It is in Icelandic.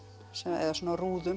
eða svona rúðum